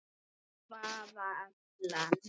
Hvaða Ellen?